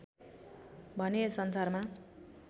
भने यस संसारमा